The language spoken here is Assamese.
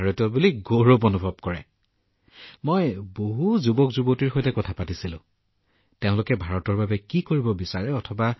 মই এইটো লক্ষ্য কৰিছিলো আৰু বিশেষকৈ যুৱ প্ৰজন্মৰ মাজত কিয়নো মই তাত থকা বহুতো যুৱকযুৱতীৰ সৈতে বাৰ্তালাপ কৰিছিলো সেয়েহে মই তেওঁলোকে বিচৰাবোৰৰ সৈতে যথেষ্ট সাদৃশ্য দেখিছিলো